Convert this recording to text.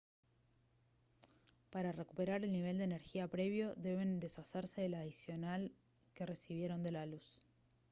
para recuperar el nivel de energía previo deben deshacerse de la adicional que recibieron de la luz